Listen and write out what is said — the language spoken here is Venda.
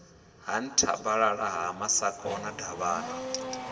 ha nthabalala ha masakona davhana